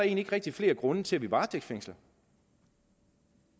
ikke rigtig flere grunde til at vi varetægtsfængsler